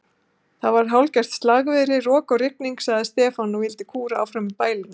Það var hálfgert slagviðri, rok og rigning, og Stefán vildi kúra áfram í bælinu.